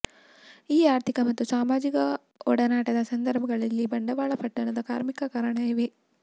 ಈ ಆರ್ಥಿಕ ಮತ್ತು ಸಾಮಾಜಿಕ ಒಡನಾಟದ ಸಂದರ್ಭಗಳಲ್ಲಿ ಬಂಡವಾಳ ಪಟ್ಟಣದ ಕಾರ್ಮಿಕ ಕಾರಣ ಇವೆ